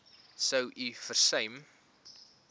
sou u versuim